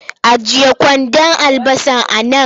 Ajiye kwandon albasar a nan!